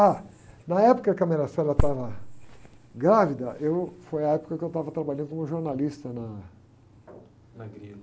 Ah, na época que a estava grávida, eu, foi a época que eu estava trabalhando como jornalista na...a Grilo.